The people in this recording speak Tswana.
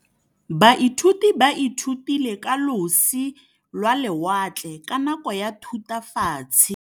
Baithuti ba ithutile ka losi lwa lewatle ka nako ya Thutafatshe.